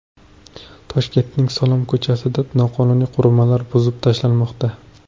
Toshkentning Salom ko‘chasida noqonuniy qurilmalar buzib tashlanmoqda.